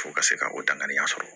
Fo ka se ka o danganiya sɔrɔ